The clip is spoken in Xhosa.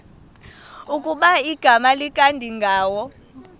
ukuba igama likadingindawo